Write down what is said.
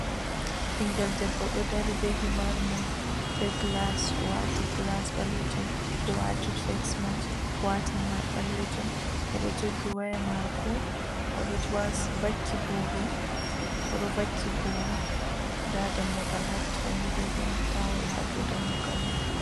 Ɓinngel debbo bee himar mun, bee gilas, o waati gilas ɓaleejum, o waati fesmask, o waati fesmask, o waati himar ɓaleejum, oɗo jogi waya maako. Oɗo wasi, oɗo vakki booro, oɗo vakki booro, daa dammugal hattoo ni, ɓe holli taawol ha dow dammugal man.